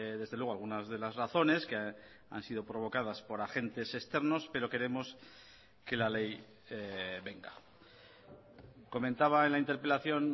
desde luego algunas de las razones que han sido provocadas por agentes externos pero queremos que la ley venga comentaba en la interpelación